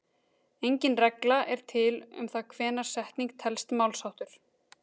Engin regla er til um það hvenær setning telst málsháttur.